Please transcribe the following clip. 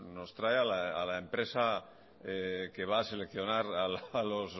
nos trae a la empresa que va a seleccionar los